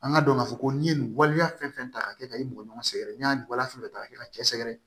An ka dɔn k'a fɔ ko n'i ye nin waleya fɛn fɛn ta k'a kɛ ka i mɔgɔ ɲɔgɔn sɛgɛrɛ n'i y'a wale ka kɛ ka cɛ sɛgɛrɛ